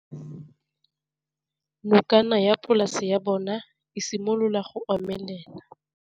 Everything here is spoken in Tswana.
Nokana ya polase ya bona, e simolola go omelela.